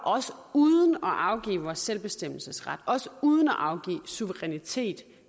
uden at afgive vores selvbestemmelsesret og uden at afgive suverænitet